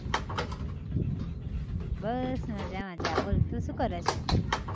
બસ મઝા મઝા બોલ તું શુ કરે છ!